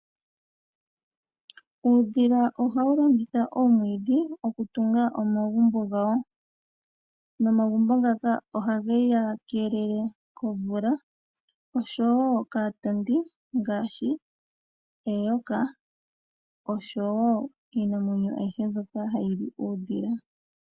Uudhila ohawu longitha oomwiidhi okutunga omagumbo gawo nomagumbo ngaka ohage wu keelele komvula osho wo kaatondi ngaashi eyoka, osho wo iinamwenyo ayihe mbyoka hayi li uudhila.